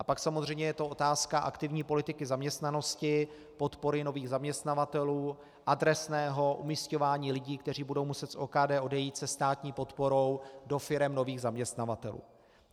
A pak samozřejmě je to otázka aktivní politiky zaměstnanosti, podpory nových zaměstnavatelů, adresného umisťování lidí, kteří budou muset z OKD odejít se státní podporou do firem nových zaměstnavatelů.